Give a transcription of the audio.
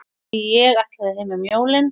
Ég ætlaði heim um jólin.